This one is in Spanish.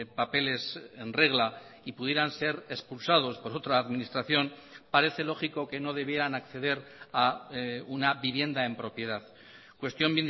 papeles en regla y pudieran ser expulsados por otra administración parece lógico que no debieran acceder a una vivienda en propiedad cuestión